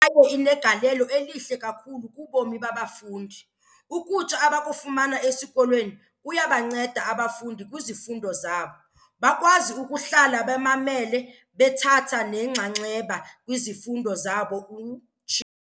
"kwaye inegalelo elihle kakhulu kubomi babafundi. Ukutya abakufumana esikolweni kuyabanceda abafundi kwizifundo zabo, bakwazi ukuhlala bemamele bethatha nenxaxheba kwizifundo zabo," utshilo.